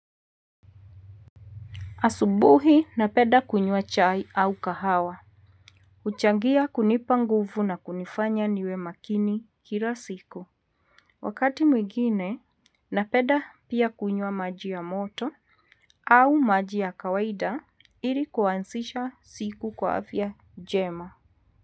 Asubuhi na penda kunywa chai au kahawa. Huchangia kunipa nguvu na kunifanya niwe makini kila siku. Wakati mwingine na penda pia kunywa maji ya moto au maji ya kawaida ili kuanzisha siku kwa afya njema.